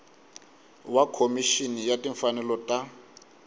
wa khomixini ya timfanelo ta